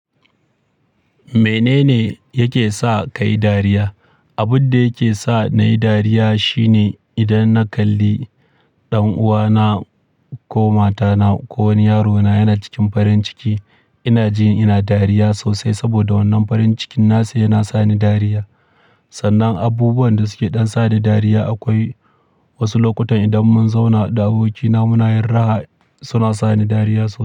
Menene yake sa ka yi dariya? Abun da yake sa na yi dariya shine idan na kalli ɗan'uwana ko matana ko wani yarona yana cikin farin ciki, ina jin ina dariya sosai saboda wannan farin cikin nasa yana sa ni dariya. Sannan abubuwan da suke ɗan sa ni dariya akwai wasu lokutan idan mun zauna da abokina muna yin raha, suna sa ni dariya sosai.